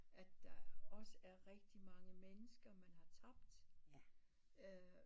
At der er også er rigtig mange mennesker man har tabt